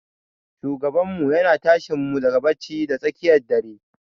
Shugabanmu yana tashinmu daga bacci da tsakiyar dare.